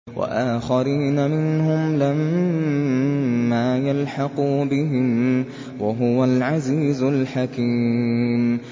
وَآخَرِينَ مِنْهُمْ لَمَّا يَلْحَقُوا بِهِمْ ۚ وَهُوَ الْعَزِيزُ الْحَكِيمُ